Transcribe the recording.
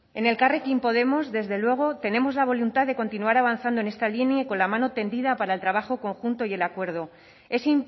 en elkarrekin podemos desde luego tenemos la voluntad de continuar avanzando en esta línea y con la mano tendida para el trabajo conjunto y el acuerdo es